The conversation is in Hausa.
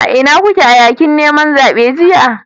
Ina kuke a yakin neman zaben jiya?